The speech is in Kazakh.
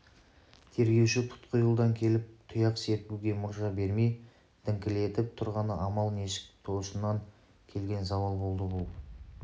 тергеуші тұтқиылдан келіп тұяқ серпуге мұрша бермей діңкелетіп тұрғаны амал нешік тосыннан келген зауал болды бұл